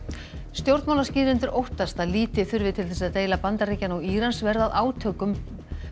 stjórnmálaskýrendur óttast að lítið þurfi til þess að deila Bandaríkjanna og Írans verði að átökum